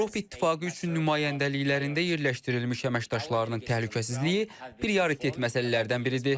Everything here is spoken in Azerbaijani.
Avropa İttifaqı üçün nümayəndəliklərində yerləşdirilmiş əməkdaşlarının təhlükəsizliyi prioritet məsələlərdən biridir.